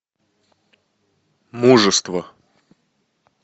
мужество